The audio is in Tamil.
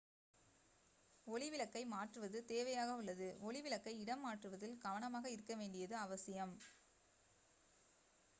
ஒளி விளக்கை மாற்றுவது தேவையாக உள்ளது ஒளி விளக்கை இடம் மாற்றுவதில் கவனமாக இருக்கவேண்டியது அவசியம்